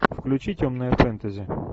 включи темное фэнтези